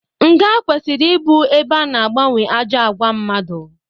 Nga kwesịrị ịbụ ebe ana agbanwe ajọ àgwà mmadụ.